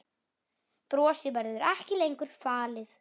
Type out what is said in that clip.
Brosið verður ekki lengur falið.